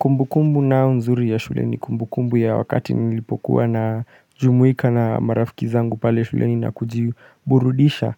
Kumbu kumbu ninayo nzuri ya shule ni kumbu kumbu ya wakati nilipokuwa na jumuika na marafiki zangu pale shuleni nakujiburudisha